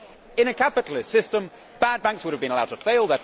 In a capitalist system, bad banks would have been allowed to fail